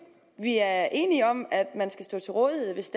vi er enige om at man skal stå til rådighed hvis